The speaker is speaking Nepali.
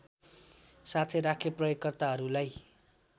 साथै राखे प्रयोगकर्ताहरूलाई